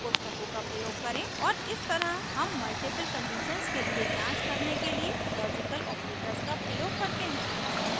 और इस तरह हम multiple conditions के लिए जांच करने के लिए logical operators का प्रयोग करते हैं